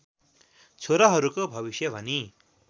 छोराहरूको भविष्य भनी